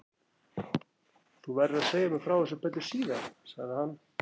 Þú verður að segja mér frá þessu betur síðar sagði hann.